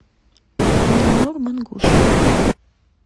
мининор мангуш